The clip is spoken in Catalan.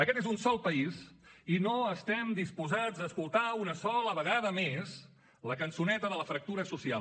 aquest és un sol país i no estem disposats a escoltar una sola vegada més la cançoneta de la fractura social